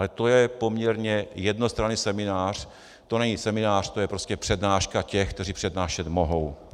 Ale to je poměrně jednostranný seminář, to není seminář, to je prostě přednáška těch, kteří přednášet mohou.